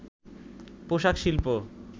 পোশাক শিল্প